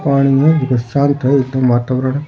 पानी है --